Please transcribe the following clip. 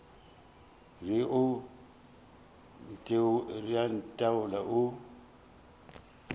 re o a ntheola o